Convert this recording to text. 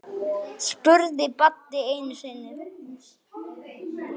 spurði Baddi einu sinni.